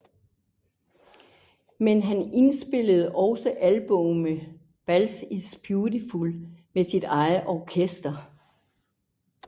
Men han indspillede også albummet Bald is Beautiful med sit eget orkester